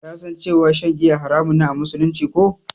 Ka san cewa shan giya haramun ne a musulunci, ko?